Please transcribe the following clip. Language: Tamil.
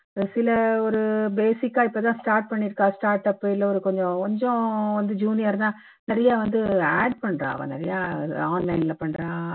சில ஒரு basic ஆ இப்போ தான் start பண்ணிருக்கா start up இல்ல ஒரு கொஞ்சம் கொஞ்சம் வந்து junior தான் நிறைய வந்து ad பண்றா நிறைய online ல பண்றா